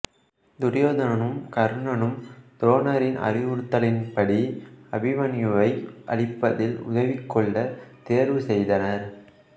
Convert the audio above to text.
துரியோதனனுன் கர்ணனும் துரோணரின் அறிவுறுத்தலின் படி அபிமன்யூவை அழிப்பதில் உதவிக்கொள்ள தேர்வுசெய்தனர்